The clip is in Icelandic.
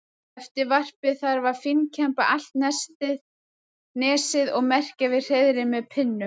Eftir varpið þarf að fínkemba allt nesið og merkja við hreiðrin með pinnum.